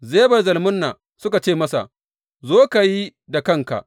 Zeba da Zalmunna suka ce masa, Zo, ka yi da kanka.